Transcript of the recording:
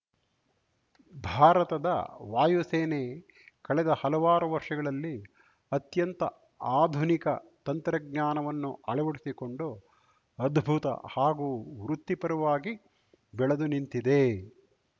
ಭಾರತದ ವಾಯುಸೇನೆ ಕಳೆದ ಹಲವಾರು ವರ್ಷಗಳಲ್ಲಿ ಅತ್ಯಂತ ಆಧುನಿಕ ತಂತ್ರಜ್ಞಾನವನ್ನು ಅಳವಡಿಸಿಕೊಂಡು ಅದ್ಭುತ ಹಾಗೂ ವೃತ್ತಿಪರವಾಗಿ ಬೆಳೆದು ನಿಂತಿದೆ